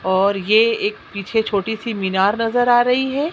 और ये एक पीछे छोटी सी मीनार नजर आ रही है।